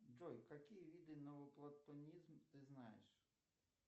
джой какие виды новоплатонизм ты знаешь